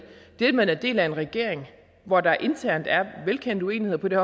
det at man er en del af en regering hvor der internt er velkendte uenigheder på det